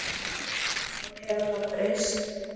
Nú hefur þetta breyst.